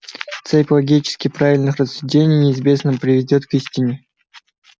цепь логически правильных рассуждений неизбежно приведёт к истине